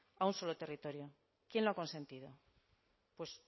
a un solo territorio quién lo ha consentido pues